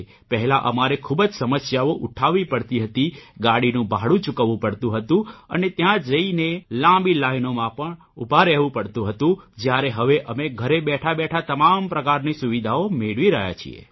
પહેલા અમારે ખૂબ જ સમસ્યાઓ ઉઠાવવી પડતી હતી ગાડીનું ભાડું ચૂકવવું પડતું હતું અને ત્યાં જઇને લાંબી લાઇનોમાં ઉભા રહેવું પડતું હતું જયારે હવે અમે ઘરે બેઠાબેઠા તમામ પ્રકારની સુવિધાઓ મેળવી રહ્યા છીએ